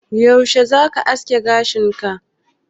Yaushe zaka haski gashin ka?